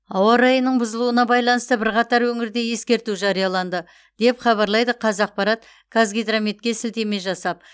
ауа райының бұзылуына байланысты бірқатар өңірде ескерту жарияланды деп хабарлайды қазақпарат қазгидрометке сілтеме жасап